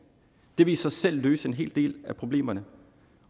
det vil i sig selv løse en hel del af problemerne